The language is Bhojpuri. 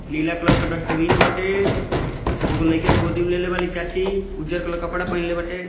नीला कलर के डस्टबिन बाटे। एगो लाइका के गोदी में लेले बाड़ी चाची उज्जर कलर के कपड़ा पहीनले बाटे।